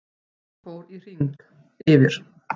Hann fór í hring yfir